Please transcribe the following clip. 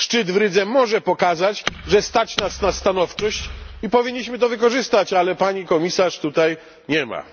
Szczyt w Rydze może pokazać, że stać nas na stanowczość i powinniśmy to wykorzystać, ale pani komisarz tutaj nie ma.